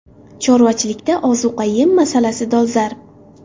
Chorvachilikda ozuqa-yem masalasi dolzarb.